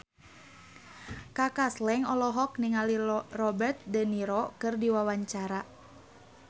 Kaka Slank olohok ningali Robert de Niro keur diwawancara